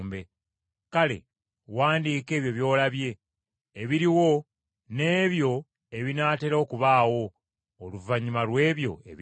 “Kale wandiika ebyo by’olabye ebiriwo n’ebyo ebinaatera okubaawo oluvannyuma lw’ebyo ebiriwo.